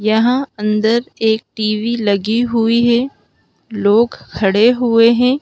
यहां अंदर एक टी_वी लगी हुई है लोग खड़े हुए हैं।